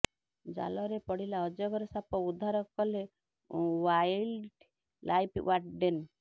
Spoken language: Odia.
ଜାଲରେ ପଡିଲା ଅଜଗର ସାପ ଉଦ୍ଧାର କଲେ ଓ୍ବାଇଲ୍ଡ ଲାଇଫ୍ ଓ୍ବାର୍ଡେନ